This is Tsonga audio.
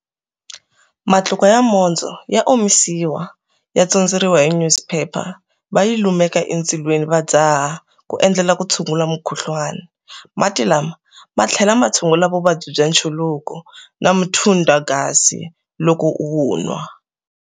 Matluka ya mondzo ya omisiwa ya tsondzeriwa hi nyuziphepha, va yi lumeka endzilweni va dzaha ku endlela ku tshungula mukhuhlwana. Mati lama ma tlhela ma tsungula vuvabyi bya nchuluko na muthundagazi loko u wu nwa.